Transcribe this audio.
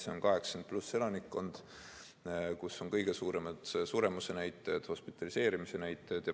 See on 80+ elanikkond, kus on kõige suuremad suremuse näitajad, hospitaliseerimise näitajad.